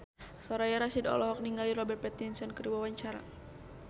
Soraya Rasyid olohok ningali Robert Pattinson keur diwawancara